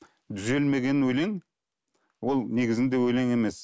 түзелмеген өлең ол негізінде өлең емес